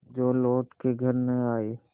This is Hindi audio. जो लौट के घर न आये